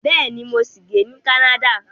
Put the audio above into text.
Bẹ́ẹ̀ni, mo ṣì ń gbé ní Canada